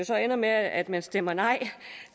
så ender med at man stemmer nej